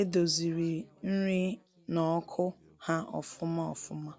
e doziri nri na ọkụ ha ofụma ofụma.